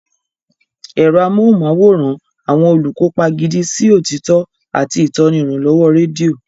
Ẹ̀rọ amóhùnmáwòrán, àwọn olùkópa gidi sí òtítọ́, àti ìtọ́ni ìrànlọ́wọ́ rédíò.